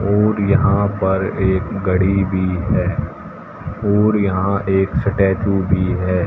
और यहां पर एक घड़ी भी है और यहां एक स्टैचू भी है।